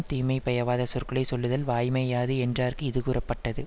தீமை பயவாத சொற்களை சொல்லுதல் வாய்மை யாது என்றார்க்கு இது கூறப்பட்டது